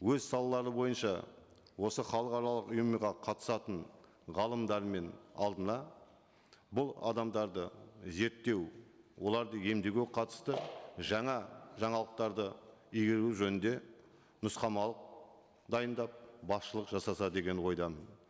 өз салалары бойынша осы халықаралық ұйымға қатысатын ғалымдармен алдына бұл адамдарды зерттеу оларды емдеуге қатысты жаңа жаңалықтарды игеру жөнінде нұсқамалық дайындап басшылық жасаса деген ойдамын